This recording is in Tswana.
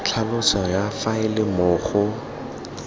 tlhaloso ya faele moo go